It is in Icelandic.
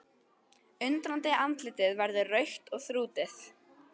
Undrandi andlitið verður rautt og þrútið.